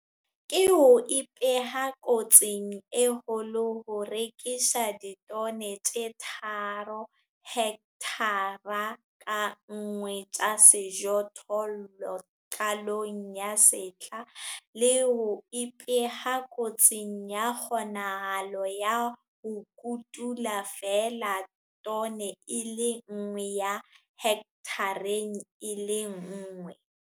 Ke ho ipeha kotsing e kgolo ho rekisa ditone tse 3 hekthara ka nngwe tsa sejothollo qalong ya sehla le ho ipeha kotsing ya kgonahalo ya ho kotula feela tone e le nngwe ya hekthareng e le nngwe.